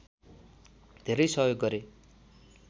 धेरै सहयोग गरे